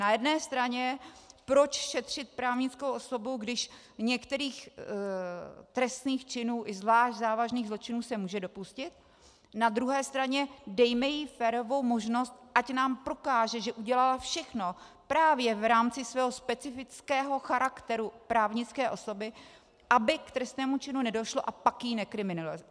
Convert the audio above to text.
Na jedné straně proč šetřit právnickou osobu, když u některých trestných činů i zvlášť závažných zločinů se může dopustit, na druhé straně dejme jí férovou možnost, ať nám prokáže, že udělala všechno právě v rámci svého specifického charakteru právnické osoby, aby k trestnému činu nedošlo, a pak ji nekriminalizujme.